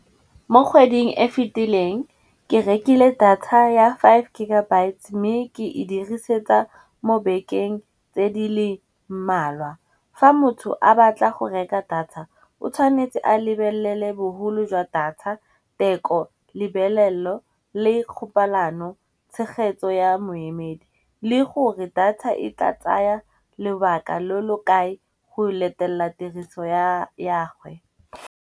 Mo kgweding e fitileng ke rekile data ya five gigabyte, mme ke e dirisetsa mo bekeng tse di le mmalwa. Fa motho a batla go reka data, o tshwanetse a lebelele bogolo jwa data, tekolebelello le kgopalano tshegetso ya moemedi. Le gore data e tla tsaya lobaka lo lo kae go letella tiriso ya gwe.